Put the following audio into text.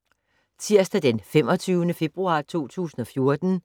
Tirsdag d. 25. februar 2014